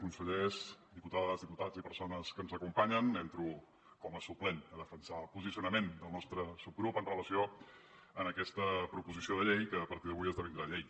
consellers diputades diputats i persones que ens acompanyen entro com a suplent a defensar el posicionament del nostre subgrup amb relació a aquesta proposició de llei que a partir d’avui esdevindrà llei